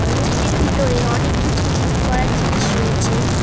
Room -টির ভিতরে অনেককিছু জিম করার জিনিস রয়েছে।